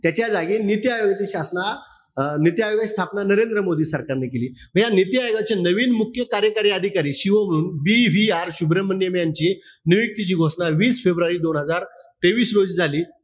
त्याच्याजागी नीती आयोगाची शासना अं नीती आयोगाची स्थापना नरेंद्र मोदी सरकारने केली. मी या नीती आयोगाची नवीन मुख्य कार्यकारी अधिकारी CEO म्हणून BVR शुभ्रमण्यम यांचे नियुक्तीची घोषणा वीस फेब्रुवारी दोन हजार तेवीस रोजी झाली.